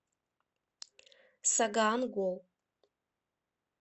сагаан гол